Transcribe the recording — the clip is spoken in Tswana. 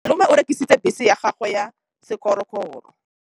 Malome o rekisitse bese ya gagwe ya sekgorokgoro.